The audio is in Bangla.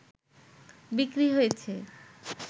বিক্রি হয়েছে